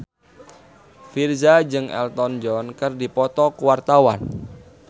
Virzha jeung Elton John keur dipoto ku wartawan